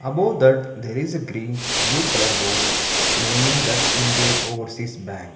above that there is a green blue colour board naming that indian overseas bank.